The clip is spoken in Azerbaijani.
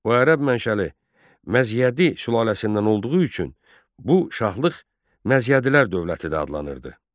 O Ərəb mənşəli Məzyədi sülaləsindən olduğu üçün bu şahlıq Məzyədilər dövləti də adlanırdı.